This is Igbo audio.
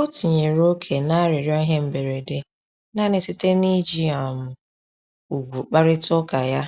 O tinyere ókè na-arịrịọ ihe mberede nanị site na iji um ùgwù kparịta uka ya